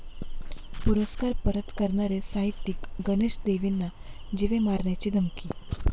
पुरस्कार परत करणारे साहित्यिक गणेश देवींना जीवे मारण्याची धमकी